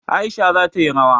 Aisha za ta yi rawa.